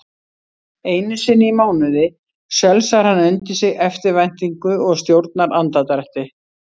Einusinni í mánuði sölsar hann undir sig eftirvæntingu og stjórnar andardrætti.